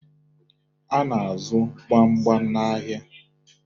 A na-azụ gbamgbam n'ahịa